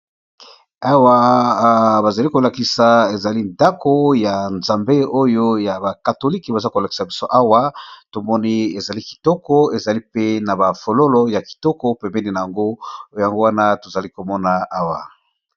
Awa bazali kolakisa ezali ndako ya nzambe oyo ya bakatolike baza kolakisa biso awa tomoni ezali kitoko ezali pe na bafololo ya kitoko pemeni na yango yango wana tozali komona awa.